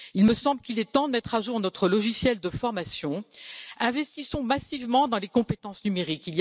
Il me semble qu'il est temps de mettre à jour notre logiciel de formation. Investissons massivement dans les compétences numériques!